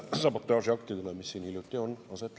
Aitäh!